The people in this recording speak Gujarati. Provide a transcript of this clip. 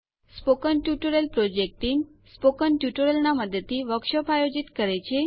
spoken tutorial project team spoken ટ્યુટોરિયલોના મદદથી વર્કશોપો આયોજિત કરે છે